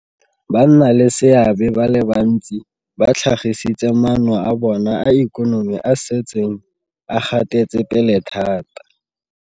Bannaleseabe ba le bantsi ba tlhagisitse maano a bona a ikonomi a a setseng a gatetsepele thata.